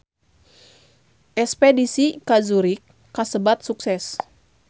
Espedisi ka Zurich kasebat sukses